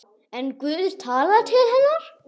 En Guð talaði til hennar.